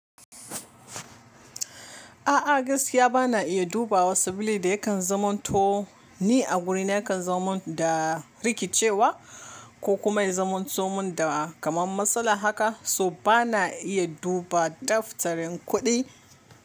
A'a, gaskiya ba na iya duba wa sabili da yakan zaman to ni a wurin yakan zomin da rikicewa. Ko kuma ya zaman tomin da kamar matsala haka, so ba na iya duba daftarin kuɗi.